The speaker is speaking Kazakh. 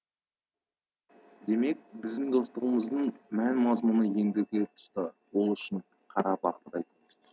демек біздің достығымыздың мән мазмұны ендігі тұста ол үшін қара бақырдай құнсыз